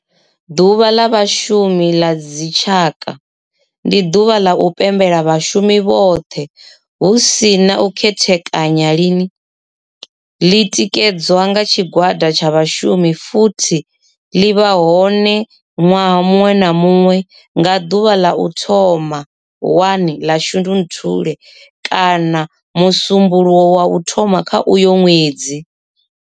Ḓuvha la Vhashumi la dzi tshaka, ndi duvha la u pembela vhashumi vhothe hu si na u khethekanya lini, li tikedzwa nga tshigwada tsha vhashumi futhi li vha hone nwaha munwe na munwe nga duvha la u thoma 1 la Shundunthule kana musumbulowo wa u thoma kha uyo nwedzi.